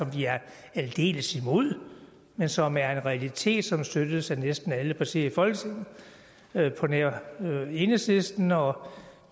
vi er aldeles imod men som er en realitet som støttes af næsten alle partier i folketinget på nær enhedslisten og